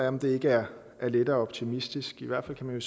om det ikke er lettere optimistisk i hvert fald kan man